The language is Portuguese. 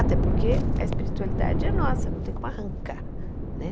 Até porque a espiritualidade é nossa, não tem como arrancar né.